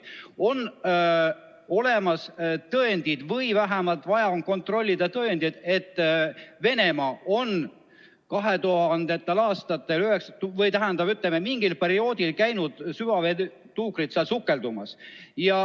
On olemas tõendid või vähemalt on vaja kontrollida tõendeid, et Venemaa on 2000. aastatel või, ütleme, mingil perioodil on süvaveetuukrid käinud seal sukeldumas.